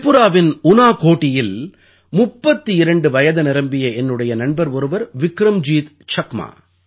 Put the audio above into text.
திரிபுராவின் உனாகோடியில் 32 வயது நிரம்பிய என்னுடைய நண்பர் ஒருவர் விக்ரம்ஜீத் சக்மா